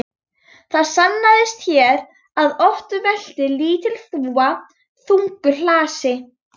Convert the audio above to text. Það sannaðist hér að oft veltir lítil þúfa þungu hlassi.